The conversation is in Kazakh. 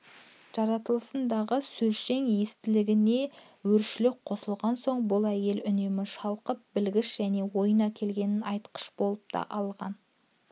жаратылысындағы сөзшең естілігіне өршілдік қосылған соң бұл әйел үнемі шалқып білгіш және ойына келгенін айтқыш та болып алған